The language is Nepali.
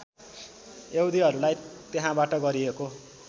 यहुदीहरूलाई त्यहाँबाट गरिएको